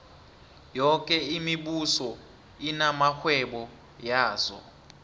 yoke imibuso inamarhwebo yazo